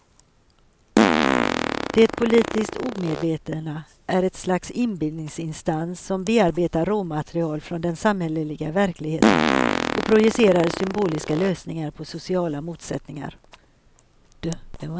Det politiska omedvetna är ett slags inbillningsinstans som bearbetar råmaterial från den samhälleliga verkligheten och projicerar symboliska lösningar på sociala motsättningar.